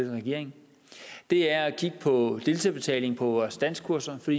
regering det er at kigge på deltagerbetaling på vores danskkurser for